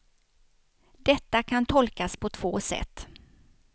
Detta kan tolkas på två sätt.